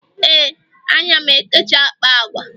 ee, ana m ekesa akpa agwa